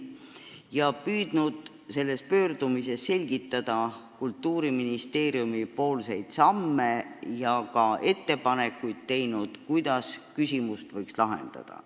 Ta on püüdnud selgitada Kultuuriministeeriumi samme ja teinud ka ettepanekuid, kuidas probleeme võiks lahendada.